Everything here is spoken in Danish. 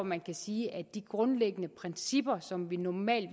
man sige at de grundlæggende principper som vi normalt